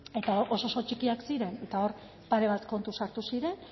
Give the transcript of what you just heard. eta oso oso txikiak ziren eta hor pare bat kontu sartu ziren